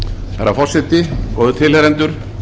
herra forseti góðir tilheyrendur